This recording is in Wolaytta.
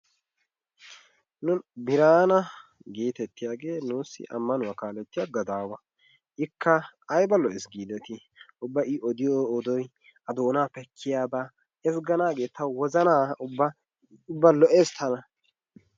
Biraana geetettiyage nuusi amanuwa gadaawa, ikka ayba lo'ees giidetii? ikka ayba lo'es giidetii? ubba lo'ees tana.